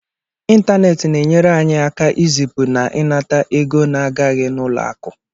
Ịntaneetị na-enyere anyị aka ịzipụ na ịnata ego na-agaghị n'ụlọ akụ